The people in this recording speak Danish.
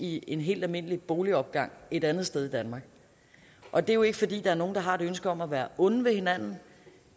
i en helt almindelig boligopgang et andet sted i danmark og det er jo ikke fordi der er nogen der har et ønske om at være onde ved hinanden